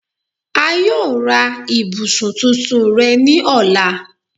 A yoo ra ibusun tuntun rẹ ni ọla